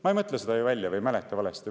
Ma ei mõtle seda välja ega mäleta valesti.